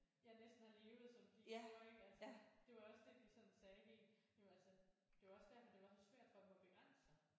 Ja næsten har levet som de gjorde ik altså det var også det de sådan sagde helt jamen altså det var også derfor det var så svært for dem at begrænse sig